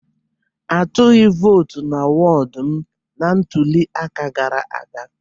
A tụghị vootu na wọdụ m na ntụliaka gara aga.